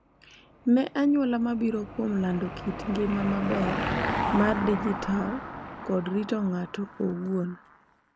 Ne anyuola mabiro kuom lando kit ngima maber mar dijital kod rito ng’ato owuon.